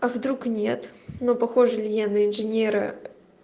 а вдруг нет но похожа ли я на инженера